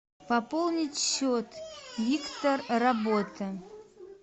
пополнить счет виктор работа